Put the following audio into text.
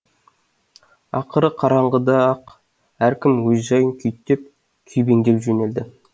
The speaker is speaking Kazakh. ақыры қараңғыда ақ әркім өз жайын күйттеп күйбеңдеп жөнелді